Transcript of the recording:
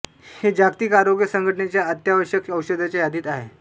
हे जागतिक आरोग्य संघटनेच्या अत्यावश्यक औषधांच्या यादीत आहे